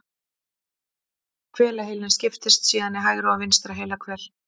Hvelaheilinn skiptist síðan í hægra og vinstra heilahvel.